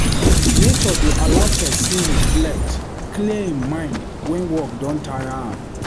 Nature dey allow make pesin reflect, clear im mind wen work don taya am.